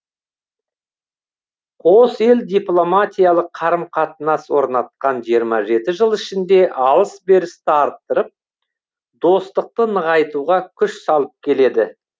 қос ел дипломатиялық қарым қатынас орнатқан жиырма жеті жыл ішінде алыс берісті арттырып достықты нығайтуға күш салып келеді